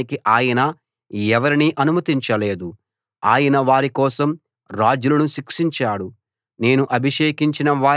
వారిని హింసించడానికి ఆయన ఎవరినీ అనుమతించలేదు ఆయన వారి కోసం రాజులను శిక్షించాడు